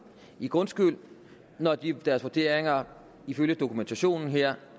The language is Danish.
i grundskyld når deres vurderinger ifølge dokumentationen her